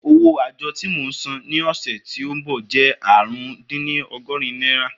Owó àjọ tí mo máa san ní ọ̀sẹ̀ tí ó ń bọ̀ jẹ́ ààrùndínní ọgọ́rin náírà